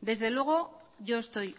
desde luego yo estoy